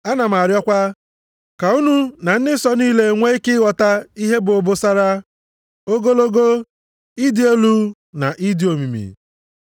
Ana m arịọkwa, ka unu na ndị nsọ niile nwee ike ịghọta ihe bụ obosara, ogologo, ịdị elu na ịdị omimi,